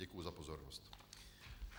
Děkuji za pozornost.